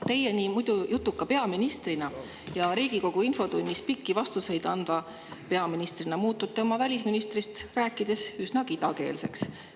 Teie muidu nii jutuka peaministrina ja Riigikogu infotunnis pikki vastuseid andva peaministrina muutute oma välisministrist rääkides üsna kidakeelseks.